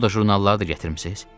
Moda jurnalları da gətirmisiz?